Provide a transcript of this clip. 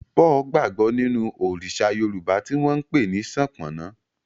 Paul gbagbo ninu Òrìṣà Yorùbá ti wón npè ni Sopona.